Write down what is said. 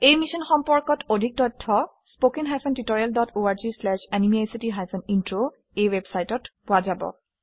এই সম্পৰ্কত অধিক তথ্য httpspoken tutorialorgNMEICT Intro ৱেবচাইটত পোৱা যাব